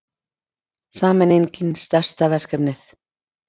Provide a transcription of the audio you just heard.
Sameiningin stærsta verkefnið